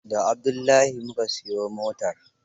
Da Abdullahi mu ka siyo motar.